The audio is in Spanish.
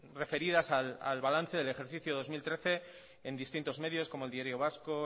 referidas al balance del ejercicio dos mil trece en distintos medios como el diario vasco